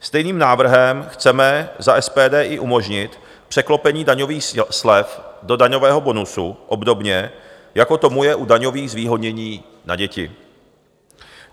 Stejným návrhem chceme za SPD i umožnit překlopení daňových slev do daňového bonusu obdobně, jako tomu je u daňových zvýhodnění na děti.